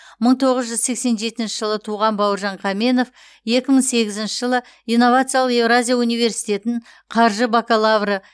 мың тоғыз жүз сексен жетінші жылы туған бауыржан қаменов екі мың сегізінші жылы инновациялық еуразия университетін қаржы бакалавры